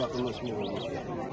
Ümumiyyətlə yaxınlaşmaq olmaz.